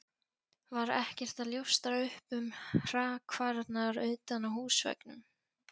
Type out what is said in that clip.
Var ekkert að ljóstra upp um hrakfarirnar utan á húsveggnum.